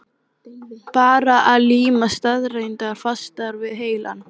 Bara að líma staðreyndirnar fastar við heilann.